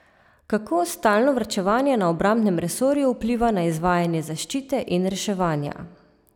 Kako stalno varčevanje na obrambnem resorju vpliva na izvajanje zaščite in reševanja?